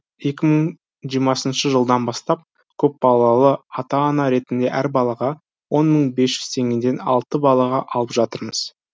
екі мың жиырмасыншы жылдан бастап көпбалалы ата ана ретінде әр балаға он мың бес жүз теңгеден алты балаға алып жатырмыз